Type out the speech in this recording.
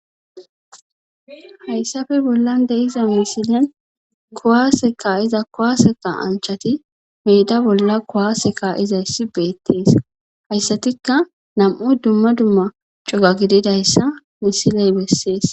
hayssafe bollan de'iza misilen kowaase ka'iza kowaase ka'anchati meeda bolla kowaase ka'izayssi beettees hayssatikka nam'u dumma dumma cuga gididayssa misiley bessees